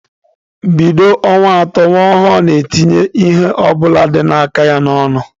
Bido ọnwa atọ, nwa ọhụrụ na-etinye ihe ọ bụla dị n'aka ya n'ọnụ.